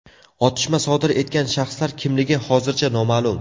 Otishma sodir etgan shaxslar kimligi hozircha noma’lum.